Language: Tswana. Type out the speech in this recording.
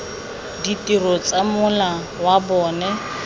ditiro tsa mola wa bona